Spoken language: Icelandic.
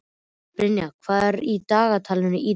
Brynjar, hvað er í dagatalinu í dag?